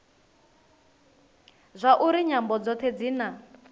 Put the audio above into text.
zwauri nyambo dzothe dzi na